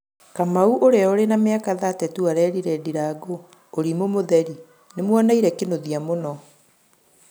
Kamau, ũrĩa ũrĩ na mĩaka 32, arerĩre ndirangũ: "ũrĩmũ mũtherĩ, nĩmoneĩre kĩnũthĩa mũno